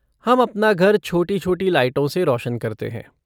हम अपना घर छोटी छोटी लाइटों से रोशन करते हैं।